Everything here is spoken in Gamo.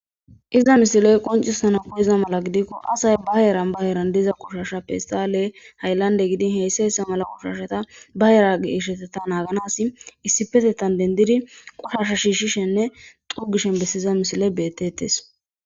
iza misiley qoncissana poiza mala gidikko asay ba yeran ba yeran diza qushashappehistale hayllande gidin heyssa issa mala qushasheta bayeragisheteta naaganas issipetettan dendidi qushasha shiishishenne xugishen bessiza misiley bettettes